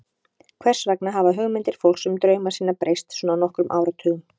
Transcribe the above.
Hvers vegna hafa hugmyndir fólks um drauma sína breyst svona á nokkrum áratugum?